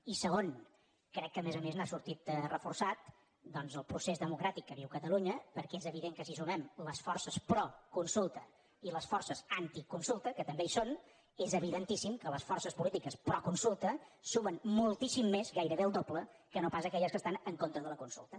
i segon crec que a més a més n’ha sortit reforçat doncs el procés democràtic que viu catalunya perquè és evident que si sumem les forces pro consulta i les forces anticonsulta que també hi són és evidentíssim que les forces polítiques pro consulta sumem moltíssim més gairebé el doble que no pas aquelles que estan en contra de la consulta